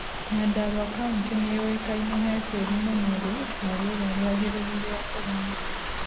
Nyandarua kauntĩ nĩyowĩkaine he tĩri mũnorũ na rĩera rĩagereru rĩa kũrĩma